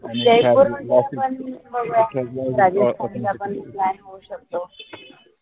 planning होऊ शकतो